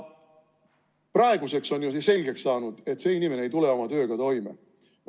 Praeguseks on selgeks saanud, et see inimene ei tule oma tööga toime.